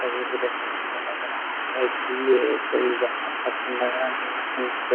तस्वीर को देखने से मुझे लग रहा है की ये कोई बाहर का सीन लग रहा है मुझे यहाँ पे यहाँ पे |